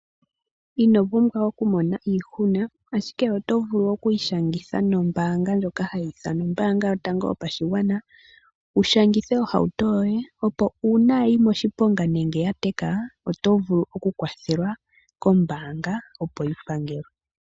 Ino pumbwa okumona iihuna, ashike oto vulu okwiishangitha nombaanga ndjoka hayi ithanwa ombaanga yotango yopashigwana , wu shangithe ohauto yoye opo uuna ya yi moshiponga nenge ya teka, oto vulu okukwathelwa kombaanga opo yi pangelwe.